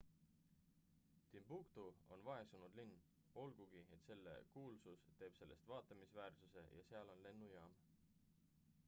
timbuktu on vaesunud linn olgugi et selle kuulsus teeb sellest vaatamisväärsuse ja seal on lennujaam